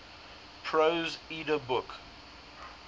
prose edda book